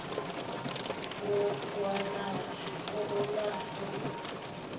wokwelashwa w cl